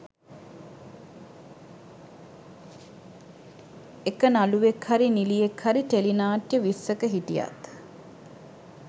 එක නළුවෙක් හරි නිලියෙක් හරි ටෙලිනාට්‍ය විස්සක හිටියත්